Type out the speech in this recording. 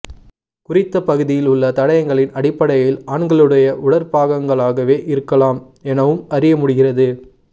குறித்த பகுதியில் உள்ள தடயங்களின் அடிப்படையில் ஆண்களுடைய உடற்பாகங்களாகவே இருக்கலாம் எனவும் அறியமுடிகிறது